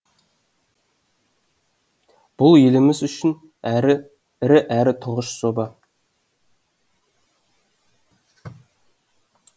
бұл еліміз үшін әрі ірі әрі тұңғыш жоба